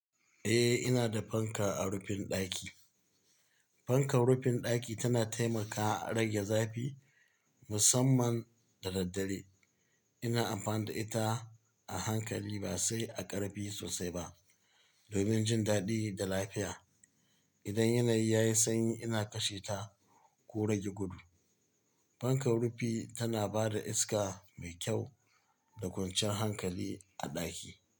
Eh, ina da fanka a rufin ɗaki. Fankar rufin ɗaki tana taimakawa a rage zafi musamman da daddare. Ina amfani da ita a hankali ba sai a ƙarfi sosai ba domin jin daɗi da lafiya. Idan yanayi ya yi sanyi ina kashe ta ko rage gudu. Fankar rufi tana ba da iska mai kyau da kwanciyan hankali a ɗaki.